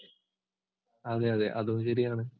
അതെ അതെ അതും ശരിയാണ്.